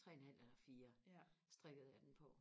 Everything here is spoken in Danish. tre en halv eller fire strikkede jeg den på